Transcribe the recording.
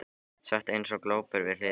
Sat eins og glópur við hlið hennar.